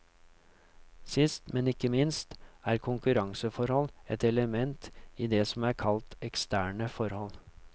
Sist, men ikke minst, er konkurranseforhold ett element i det som er kalt eksterne forhold.